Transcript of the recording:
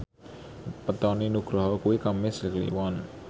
wetone Nugroho kuwi Kemis Kliwon